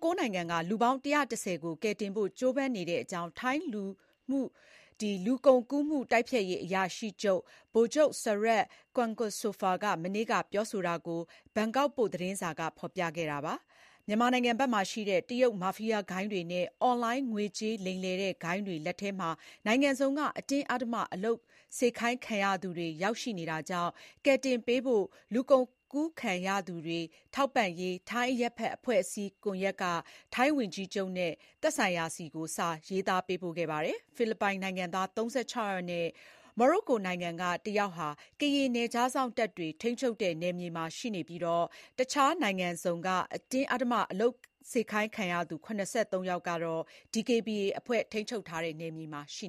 ၉ နိုင်ငံက လူပေါင်း ၁၁၀ ကို ကယ်တင်ဖို့ ကြိုးပမ်းနေတဲ့အကြောင်း ထိုင်း လူကုန်ကူးမှုတိုက်ဖျက်ရေးအရာရှိ ဗိုလ်ချုပ် Sarut Kwaengsopha မနေ့က ပြောဆိုတာကို ဘန်ကောက်ပို့ သတင်းစာက ဖော်ပြခဲ့တာပါ။ မြန်မာနိုင်ငံဘက်မှာရှိတဲ့ တရုတ် မာဖီယားဂိုဏ်းတွေနဲ့ အွန်လိုင်း ငွေကြေးလိမ်လည်တဲ့ဂိုဏ်းတွေ လက်ထဲမှာ နိုင်ငံစုံက အတင်းအဓမ္မ အလုပ်ခိုင်းခံရသူတွေ ရောက်နေတာကြောင့် ကယ်တင်ပေးဖို့ လူကုန်ကူးခံရသူတွေ ထောက်ပံ့ရေး ထိုင်း အရပ်ဘက် အဖွဲ့အစည်း ကွန်ယက်က ထိုင်း ဝန်ကြီးချုပ် Paetongtarn Shinawatra နဲ့ သက်ဆိုင်ရာတွေဆီ စာရေးသားပေးပို့ခဲ့ပါတယ်။ ဖိလစ်ပိုင်နိုင်ငံသား ၃၆ ယောက်နဲ့ မိုရိုကိုနိုင်ငံက တယောက်ဟာ ကရင် နယ်ခြားစောင့်တပ်တွေ ထိန်းချုပ်တဲ့နယ်မြေမှာ ရှိနေပြီး တခြားနိုင်ငံစုံက အတင်းအဓမ္မအလုပ်ခိုင်းခံရသူ ၇၃ ယောက်ကတော့ DKBA အဖွဲ့ ထိန်းချုပ်တဲ့ နယ်မြေထဲမှာ ရှိ